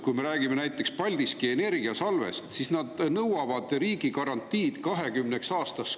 Kui me räägime näiteks Paldiski Energiasalvest, siis nad nõuavad riigi garantiid, tulugarantiid 20 aastaks.